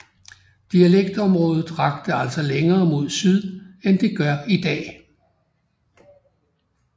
Dialekktområdet rakte altså længere mod syd end det gør i dag